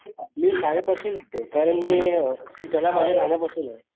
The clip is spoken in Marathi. मी शाळेपासून होतो कारण मी हि कला माझ्या लहाना पासुन